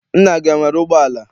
Nna gị enwere ụgbọala?